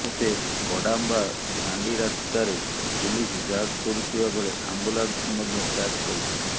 ତେବେ ବୁଡ଼ାମ୍ବ ଫାଣ୍ଡି ରାସ୍ତାରେ ପୁଲିସ୍ ଯାଞ୍ଚ କରୁଥିବାବେଳେ ଆମ୍ବୁଲାନ୍ସକୁ ମଧ୍ୟ ଯାଞ୍ଚ କରିଥିଲା